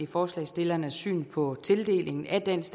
forslagsstillernes syn på tildelingen af dansk